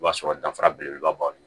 O b'a sɔrɔ danfara belebeleba b'anw bolo